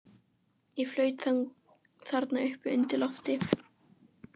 Ég flaut þarna uppi undir lofti.